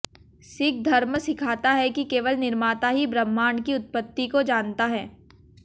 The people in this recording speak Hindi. सिख धर्म सिखाता है कि केवल निर्माता ही ब्रह्मांड की उत्पत्ति को जानता है